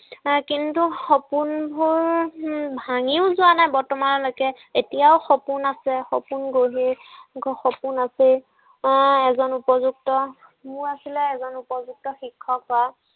এৰ কিন্তু সপোনবোৰ উম ভাঙিও যোৱা নাই বৰ্তমানলৈকে। এতিয়াও সপোন আছে। সপোন গঢ়ি, সপোন আছেই। আহ এজন উপযুক্ত, মোৰ আছিলে এজন উপযুক্ত শিক্ষক হোৱা।